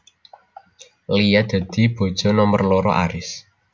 Lia dadi bojo nomer loro Aries